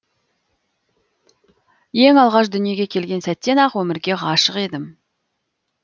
ең алғаш дүниеге келген сәттен ақ өмірге ғашық едім